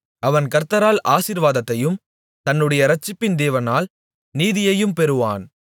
அவன் கர்த்தரால் ஆசீர்வாதத்தையும் தன்னுடைய இரட்சிப்பின் தேவனால் நீதியையும் பெறுவான்